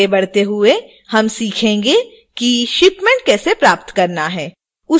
आगे बढ़ते हुए हम सीखेंगे कि shipment कैसे प्राप्त करना है